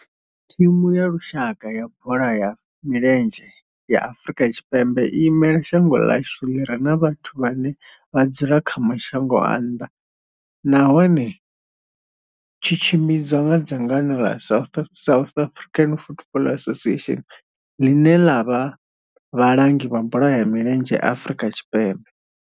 Thimu ya lushaka ya bola ya milenzhe ya Afrika Tshipembe i imela shango ḽa hashu ḽi re na vhathu vhane vha dzula kha mashango a nnḓa nahone tshi tshimbidzwa nga dzangano la South African Football Association, line la vha vhalangi vha bola ya milenzhe Afrika Tshipembe.